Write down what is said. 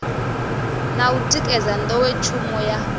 na u tikedza nḓowetshumo ya